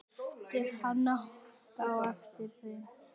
æpti hann á eftir þeim.